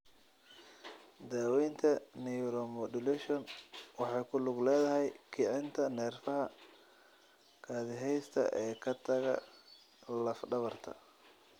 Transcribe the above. Daaweynta Neuromodulation waxay ku lug leedahay kicinta neerfaha kaadiheysta ee ka taga laf dhabarta.